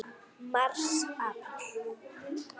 Mars Apríl